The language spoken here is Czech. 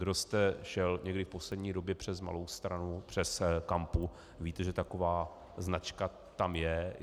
Kdo jste šel někdy v poslední době přes Malou Stranu, přes Kampu, víte, že taková značka tam je.